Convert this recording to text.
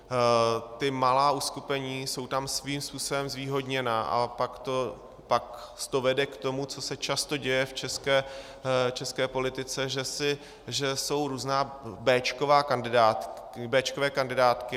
Ta malá uskupení jsou tam svým způsobem zvýhodněna a pak to vede k tomu, co se často děje v české politice, že jsou různé béčkové kandidátky.